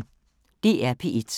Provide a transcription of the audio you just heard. DR P1